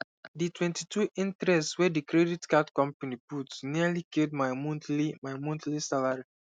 the 22 interest wey the credit card company put nearly kill my monthly my monthly salary